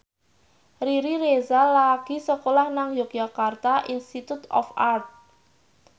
Riri Reza lagi sekolah nang Yogyakarta Institute of Art